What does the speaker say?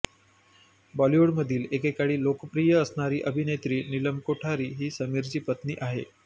बॉलिवूडमध्ये एकेकाळी लोकप्रिय असणारी अभिनेत्री नीलम कोठारी ही समीरची पत्नी आहे